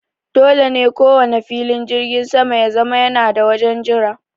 Dole ne kowanne filin jirgin sama ya zama yana da wajen jira.